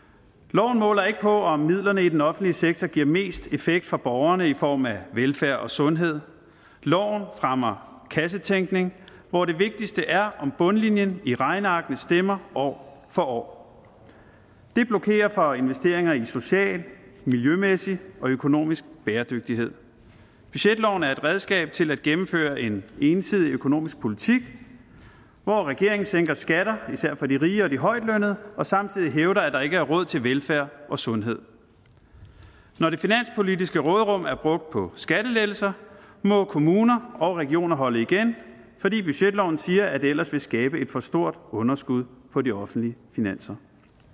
loven måler ikke på om midlerne i den offentlige sektor giver mest effekt for borgerne i form af velfærd og sundhed loven rammer kassetænkning hvor det vigtigste er om bundlinjen i regnearkene stemmer år for år det blokerer for investeringer i social miljømæssig og økonomisk bæredygtighed budgetloven er et redskab til at gennemføre en ensidig økonomisk politik hvor regeringen sænker skatter især for de rige og de højtlønnede og samtidig hævder at der ikke er råd til velfærd og sundhed når det finanspolitiske råderum er brugt på skattelettelser må kommuner og regioner holde igen fordi budgetloven siger at det ellers vil skabe et for stort underskud på de offentlige finanser